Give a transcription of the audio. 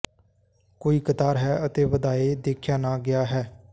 ਕੋਈ ਕਤਾਰ ਹੈ ਅਤੇ ਵਧਾਏ ਦੇਖਿਆ ਨਾ ਗਿਆ ਹੈ